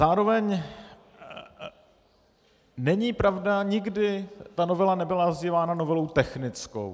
Zároveň není pravda, nikdy ta novela nebyla nazývána novelou technickou.